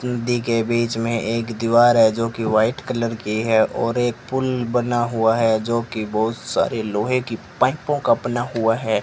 नदी के बीच में एक दीवार है जोकि वाइट कलर की है और एक पूल बना हुआ है जोकि बहुत सारे लोहे की पाइपों का बना हुआ है।